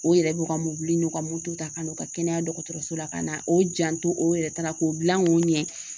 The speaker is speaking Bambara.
O yɛrɛ b'u ka mobili n'u ka moto ta ka n'u ka kɛnɛya dɔgɔtɔrɔso la ka na o janto o yɛrɛ taara k'o dilan k'o ɲɛ